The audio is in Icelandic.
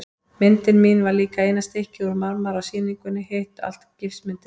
Myndin mín var líka eina stykkið úr marmara á sýningunni, hitt allt gifsmyndir.